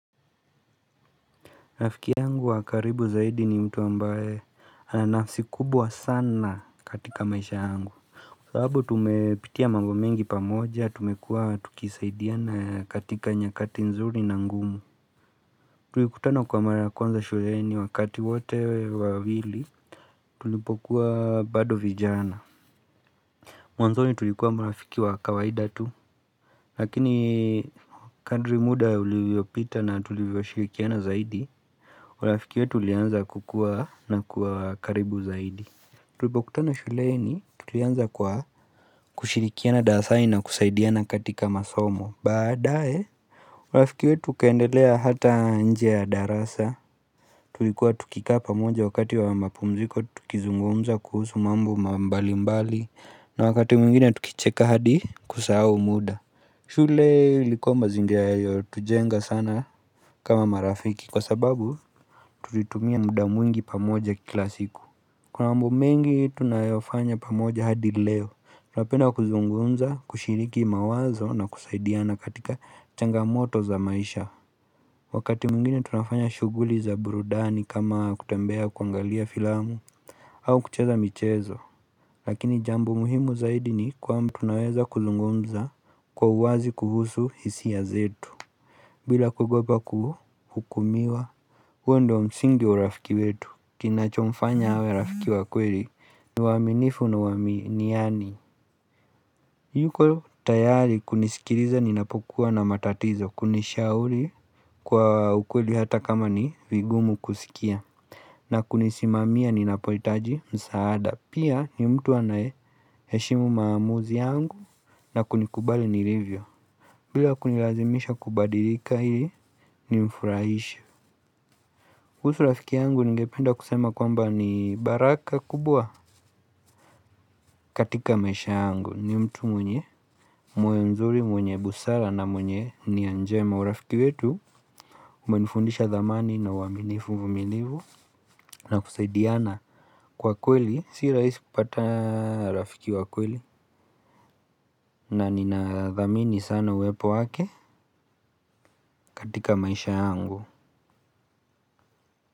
Rafiki yangu wa karibu zaidi ni mtu ambaye ana nafsi kubwa sana katika maisha yangu, Kwa sababu tumepitia mambo mengi pamoja, tumekuwa tukisaidiana katika nyakati nzuri na ngumu Tulikutana kwa mara kwanza shuleni wakati wote wawili tulipokuwa bado vijana Mwanzoni tulikuwa marafiki wa kawaida tu, lakini kadri muda ulivyopita na tulivyoshirikiana zaidi urafiki wetu ulianza kukua na kuwa karibu zaidi Tulipokutana shuleni, tulianza kwa kushirikiana darasani na kusaidiana katika masomo. Baadae, urafiki wetu ukaendelea hata nje ya darasa Tulikuwa tukikaa pamoja wakati wa mapumziko tukizungumza kuhusu mambo mbali mbali. Na wakati mwingine tukicheka hadi kusahau muda shule ilikuwa mazingira yaliyotujenga sana kama marafiki, kwa sababu tulitumia muda mwingi pamoja kila siku Kuna mambo mengi tunayofanya pamoja hadi leo. Tunapenda kuzungumza kushiriki mawazo na kusaidiana katika changamoto za maisha Wakati mwingine tunafanya shughuli za burudani kama kutembea, kuangalia filamu au kucheza michezo Lakini jambo muhimu zaidi ni kwamba tunaweza kuzungumza kwa uwazi kuhusu hisia zetu bila kuogopa kuhukumiwa. Huo ndiyo msingi urafiki wetu. Kinachomfanya awe rafiki wa kweli, ni uaminifu na uaminiani yuko tayari kunisikiliza ninapokuwa na matatizo, kunishauri kwa ukweli hata kama ni vigumu kusikia na kunisimamia ninapohitaji msaada. Pia ni mtu anayeheshimu maamuzi yangu na kunikubali nilivyo, bila kunilazimisha kubadilika ili nimfurahishe. Kuhusu rafiki yangu, ningependa kusema kwamba ni baraka kubwa. Katika maisha yangu ni mtu mwenye moyo nzuri, mwenye busara na mwenye nia njema. Urafiki wetu umenifundisha dhamani na uaminifu, uvumilivu na kusaidiana, Kwa kweli. Si rahisi kupata rafiki wa kweli na nina dhamini sana uwepo wake, katika maisha yangu.